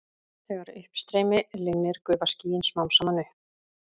Þegar uppstreymi linnir gufa skýin smám saman upp.